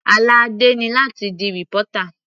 Àlá Adé ni láti di reporter.